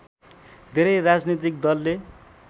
धेरै राजनैतिक दलले